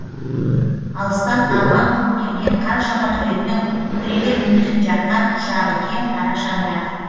алыстан арман қуып келген қаншама түлектің үкілеген үмітін жаққан құшағы кең қарашаңырақ